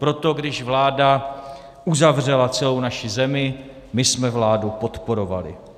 Proto když vláda uzavřela celou naši zemi, my jsme vládu podporovali.